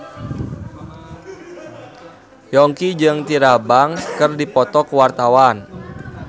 Yongki jeung Tyra Banks keur dipoto ku wartawan